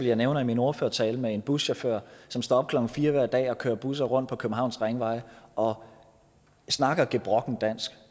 jeg nævner i min ordførertale med en buschauffør som står op klokken fire hver dag og kører busser rundt på københavns ringveje og snakker gebrokkent dansk